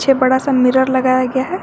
बड़ा सा मिरर लगाया गया है।